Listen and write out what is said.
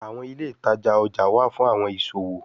àwọn ilé ìtajà ọjà wá fún àwọn ìṣòwò